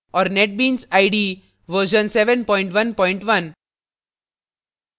और netbeans ide 711